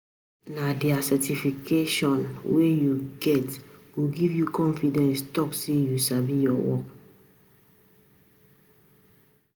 Nah di Certification wey u get go give u confidence talk say you sabi ur work.